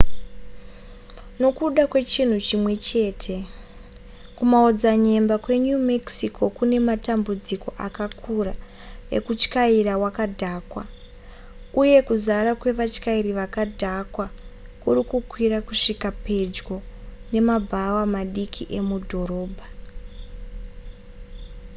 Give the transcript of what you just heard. nokuda kwechinhu chimwe chete kumaodzanyemba kwe new mexico kune matambudziko akakura ekutyaira wakadhakwa uye kuzara kwevatyairi vakadhakwa kurikukwira kusvika pedyo nemabhawa madiki emudhorobha